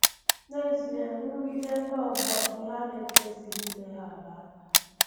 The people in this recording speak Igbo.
N’zie, nrụgide ndị ọgbọ bụ ihe a na-ekwesịghị ileghara anya.